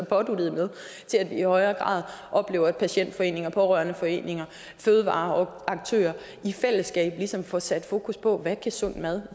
påduttet til at vi i højere grad oplever at patientforeninger pårørendeforeninger og fødevareaktører i fællesskab ligesom får sat fokus på hvad sund mad